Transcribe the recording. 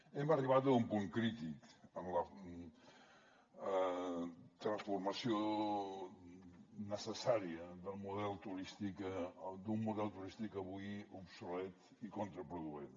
hem arribat a un punt crític en la transformació necessària del model turístic d’un model turístic avui obsolet i contraproduent